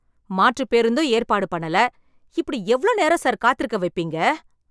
மாற்றுப் பேருந்தும் ஏற்பாடு பண்ணல, இப்படி எவ்ளோ நேரம் சார் காத்திருக்க வைப்பீங்க?